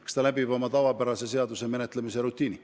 Eks ta läbib tavapärase seaduseelnõu menetluse.